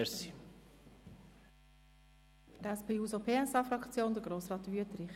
Für die SP-JUSO-PSA-Fraktion spricht nun Grossrat Wüthrich.